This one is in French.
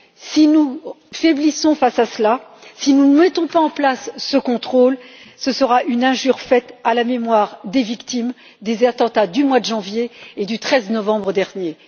Si nous faiblissons face à cela, si nous ne mettons pas en place ce contrôle, ce sera une injure faite à la mémoire des victimes des attentats du mois de janvier et du 13 novembre dernier.